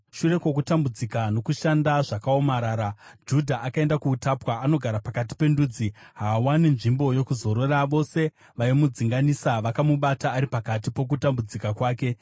Shure kwokutambudzika nokushanda zvakaomarara, Judha akaenda kuutapwa. Anogara pakati pendudzi; haawani nzvimbo yokuzorora. Vose vaimudzinganisa vakamubata ari pakati pokutambudzika kwake.